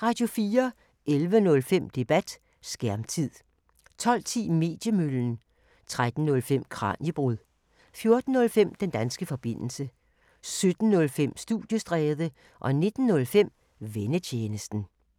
11:05: Debat: Skærmtid 12:10: Mediemøllen 13:05: Kraniebrud 14:05: Den danske forbindelse 17:05: Studiestræde 19:05: Vennetjenesten